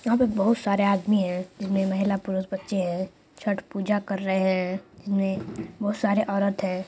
यहां पे बहुत सारे आदमी है जिसमें महिला पुरुष बच्चे है छठ पूजा कर रहे है जिनमें बहुत सारे औरत है।